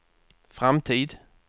framtid